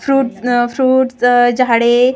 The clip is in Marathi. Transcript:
फ्रुट अ फ्रुट अ झाडे अ छोटी--